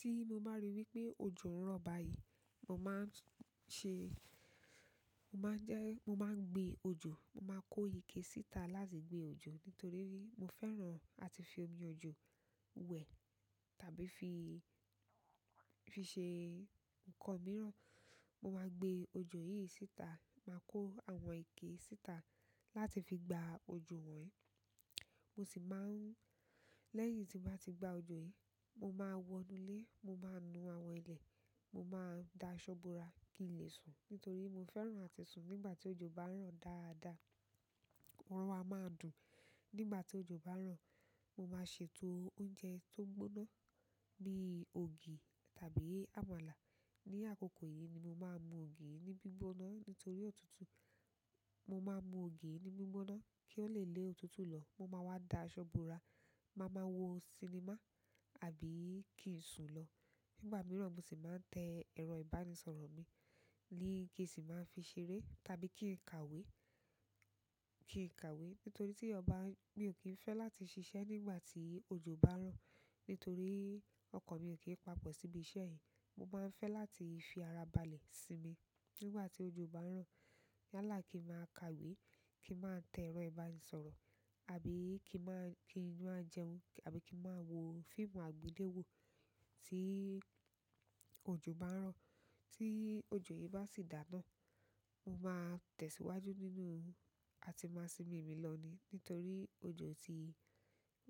Tí mo bá rí wípé òjò ń rọ̀ báyìí, mo máa ń ṣe-- mo máa ń jẹ́, mo máa ń gbe òjò, mo máa kó ike síta láti gbe òjò nítorí mo fẹ́ràn àti fi omi òjò wẹ̀ tàbí fi, fi ṣe nǹkan mìíràn. Mo máa gbe òjò yìí síta, màá kó àwọn ike síta láti fi gba òjò wọ́n. Mo sì máa ń-- lẹ́yìn tí n bá ti gba òjò yìí, mo máa wọnu ilé, mo máa nu àwọn ilẹ̀, mo máa da aṣọ bora kí n lè sùn nítorí mo fẹ́ràn àti sùn nígbà tí òjò bá ń rọ̀ dáadáa. Oorun a ma dùn, nígbà ti ojo banro mo ma ṣètò oúnjẹ to gbóná, bíi ògì tàbí àmàlà ni àkókò yìí ni mo máa mú ògì yìí ní gbígbóná nítorí òtútù. Mo máa mú ògì ní gbígbóná kí ó le lé òtútù lọ. Mo máa wá da aṣọ búra. Ma maa wo sinimá, àbí ki n sun lo. Nígbà mìíràn mo sì máa ń tẹ ẹrọ ìbánisọ̀rọ̀ mi, ni kí n sì máa fi ṣeré tàbí kí n kàwé, kí n kàwé. Nítorí tí eeyan ba, mi ò kín fẹ́ láti ṣiṣẹ́ nígbà tí òjò bá ń rọ̀. Nítorí ọkàn mi ò kín papọ̀ síbi iṣẹ́ yìí. Mo máa ń fẹ́ láti fi ara balẹ̀ sínmi nígbà tí òjò bá ń rọ̀. Yalá kí n máa kàwé, kí n máa tẹ ẹrọ ìbánisọ̀rọ̀, àbí kí n máa, kí n máa jẹun, àbí kí n máa wo fíìmù àgbéléwò tí òjò bá ń rọ̀. Tí òjò yìí bá sì dá náà, mo máa tẹ̀síwájú nínú àti máa sinmi mi lọ ní nítorí òjò ti,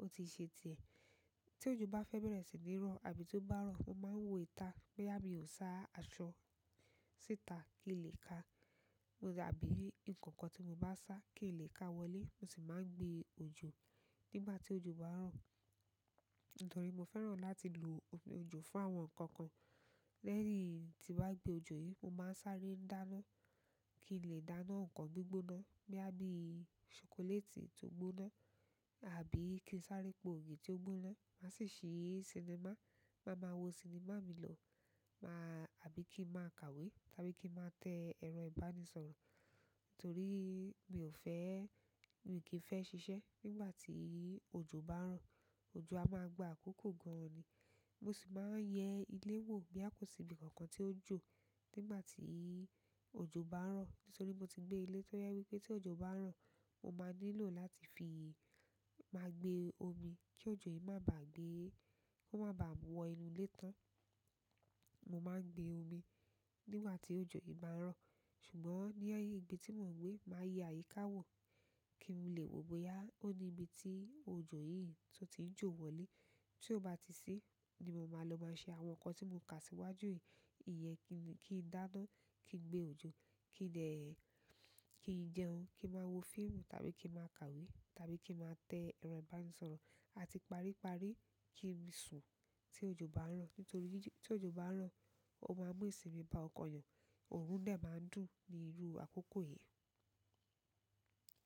ó ti ṣe tiẹ̀. Tí òjò bá fẹ́ bẹ̀rẹ̀ sí ní rọ̀ àbí tió bá rọ̀, mo máa ń wo ita boya mi ò sá aṣọ síta kí n lè ka. Àbí nǹkan kan tí mo bá sà kí n lè ká wọlé. Mo sì máa ń gbe òjò nígbà tí òjò bá ń rọ̀. Nítorí mo fẹ́ràn láti lo omi òjò fún àwọn nǹkan kan. Lẹ́yìn tí n bá gbe òjò yìí, mo máa ń sáré dáná kí n lè dáná nǹkan gbígbóná boya bí ṣokoléètì tó gbóná àbí kí n sáré po ògì tí ó gbóná. Màá sì ṣì sinimá, màá máa wo sinimá mi lọ. Máa àbí kí n máa kàwé tàbí kí n máa te ẹrọ ìbánisọ̀rọ̀. Nítorí mi ò fẹ́, mi ò kín fẹ́ ṣiṣẹ́ nígbà tí òjò bá ń rọ̀. Òjò a máa gba àkókò gan-an ni. Mo sì máa ń yẹ ilé wò boya kò sí ibi kankan tí ó n jó nígbà tí òjò bá ń rọ̀. Nítorí mo ti gbé ilé tó jẹ wípé tí òjò bá ń rọ̀, mo máa nílò láti fi, máa gbe omi kí òjò yìí má bàá gbé, kó má bàá wọ́ inú ilé tán. Mo máa ń gbe òmì nígbà tí òjò yìí bá ń rọ̀. Ṣùgbọ́n ní ibí tí mò ń gbe, màá yẹ àyíká wò kí n lè wò bóyá ó ní ibi tí òjò yìí tun ti ń jò wọlé. Tí ó bá ti si ni mo máa lọ máa ṣe àwọn nǹkan tí mò ka síwájú yìí. Iyẹn kí n dáná, kí n gbe òjò, kí n dẹ, kí n jẹun, kí n máa wo fíìmù tàbí kí n máa kàwé tàbí kí n máa tẹ ẹrọ ìbánisọ̀rọ̀ àti pari-pari kí n sùn tí òjò bá ń rọ̀. Nítorí tí òjò bá ń rọ̀, ó máa mú ìsinmi bá ọkàn eeyàn. Òorún de máa ń dùn ni irú àkókò yìí.